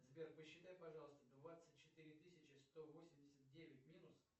сбер посчитай пожалуйста двадцать четыре тысячи сто восемьдесят девять минус